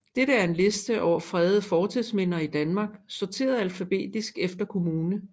Dette er en liste over fredede fortidsminder i Danmark sorteret alfabetisk efter kommune